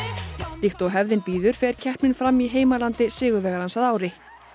líkt og hefðin býður fer keppnin fram í heimalandi sigurvegarans að ári